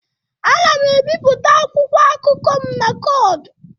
Ana m ebipụta akwụkwọ akụkọ m na kord.